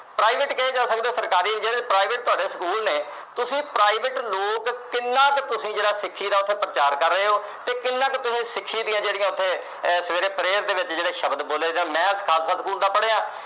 private ਕਹਿ ਜਾ ਸਕਦੇ ਓ ਜਾਂ ਸਰਕਾਰੀ। private ਜਿਹੜੇ ਤੁਹਾਡੇ school ਨੇ, ਤੁਸੀਂ private ਲੋਕ ਕਿੰਨਾ ਤਾਂ ਤੁਸੀਂ ਜਿਹੜਾ ਸਿੱਖੀ ਦਾ ਪ੍ਰਚਾਰ ਕਰ ਰਹੇ ਓ ਤੇ ਕਿੰਨੇ ਕੁ ਤੁਸੀਂ ਸਿੱਖੀ ਦੀਆਂ ਜਿਹੜੀਆਂ ਉਥੇ ਸਵੇਰੇ prayer ਦੇ ਵਿੱਚ ਜਿਹੜੇ ਸ਼ਬਦ ਆ ਬੋਲੇ ਜਾਂਦੇ ਆ, ਮੈਂ ਖਾਲਸਾ school ਦਾ ਪੜ੍ਹਿਆ।